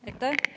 Aitäh!